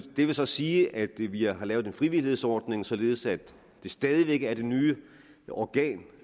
vil så sige at vi vi har lavet en frivillighedsordning således at det stadig væk er det nye organ